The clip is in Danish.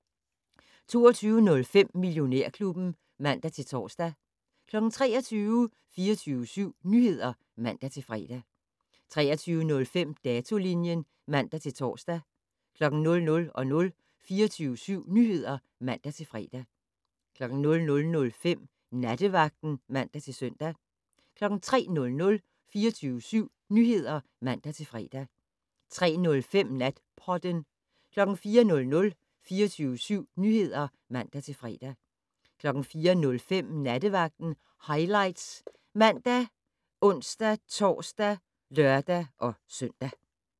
22:05: Millionærklubben (man-tor) 23:00: 24syv Nyheder (man-fre) 23:05: Datolinjen (man-tor) 00:00: 24syv Nyheder (man-fre) 00:05: Nattevagten (man-søn) 03:00: 24syv Nyheder (man-fre) 03:05: Natpodden 04:00: 24syv Nyheder (man-fre) 04:05: Nattevagten Highlights ( man, ons-tor, lør-søn)